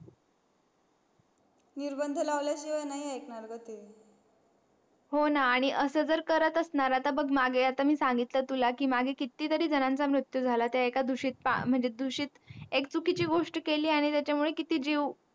निर्बंध लावल्या शिवाय नाही आयेकणार ग हो ना आणि असं जर करत असणार आता बघ मागे सांगितलं तुला कितीजरी जणांचा मृत्यू झाला तर म्हणजे एका एक चुकीची गोष्ट केली आणि त्याच्या मुळे किती जीव